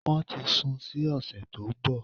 Wọ́n ti sun sí òsẹ̀ tó nbọ̀